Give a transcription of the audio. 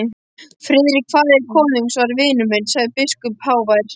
Friðrik faðir konungs var vinur minn, sagði biskup hávær.